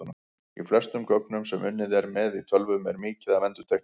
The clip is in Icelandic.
Í flestum gögnum sem unnið er með í tölvum er mikið af endurtekningum.